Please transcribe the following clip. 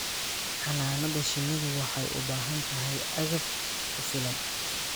Xannaanada shinnidu waxay u baahan tahay agab ku filan.